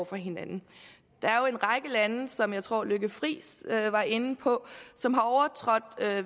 for hinanden der er jo en række lande som jeg tror fru lykke friis var inde på som har overtrådt